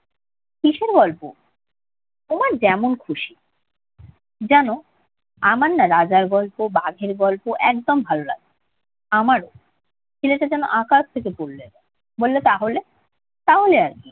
কিসের গল্প? তোমার যেমন খুশি। জান, আমার না রাজার গল্প, বাঘের গল্প একদম ভালো লাগে না। আমারও। ছেলেটা যেন আকাশ থেকে পড়ল এবার। বলল তাহলে? তাহলে আর কি?